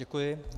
Děkuji.